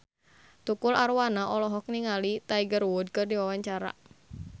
Tukul Arwana olohok ningali Tiger Wood keur diwawancara